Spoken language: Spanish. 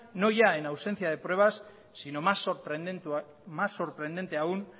no ya en ausencia de pruebas sino más sorprendente aún